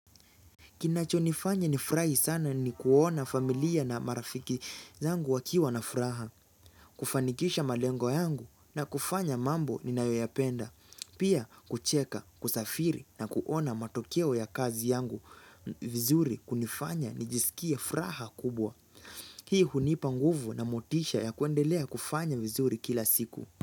Kinachonifanya nifurahi sana ni kuona familia na marafiki zangu wakiwa na furaha, kufanikisha malengo yangu na kufanya mambo ninayoyapenda, pia kucheka, kusafiri na kuona matokeo ya kazi yangu vizuri kunifanya nijisikia furaha kubwa. Hii hunipa nguvu na motisha ya kuendelea kufanya vizuri kila siku.